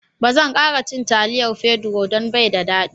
Ba zan kara cin taliyar Pedro don bai da daɗi..